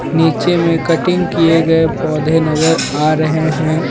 नीचे में कटिंग किए गए पौधे नजर आ रहे हैं.